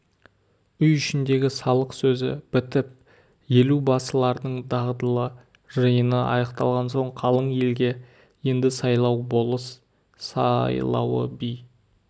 үй ішіндегі салық сөзі бітіп елу басылардың дағдылы жиыны аяқталған соң қалың елге енді сайлау болыс сайлауы би